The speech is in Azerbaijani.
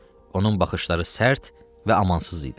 Onun baxışları sərt və amansız idi.